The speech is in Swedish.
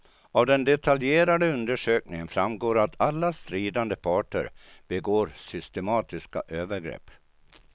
Av den detaljerade undersökningen framgår att alla stridande parter begår systematiska övergrepp.